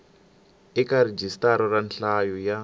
eka rhijisitara ra nhlayo ya